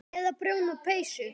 Eða prjóna peysur.